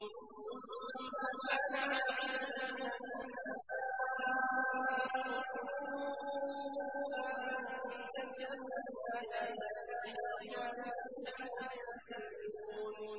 ثُمَّ كَانَ عَاقِبَةَ الَّذِينَ أَسَاءُوا السُّوأَىٰ أَن كَذَّبُوا بِآيَاتِ اللَّهِ وَكَانُوا بِهَا يَسْتَهْزِئُونَ